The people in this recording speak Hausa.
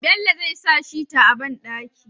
Bello zai sa shita a banɗaki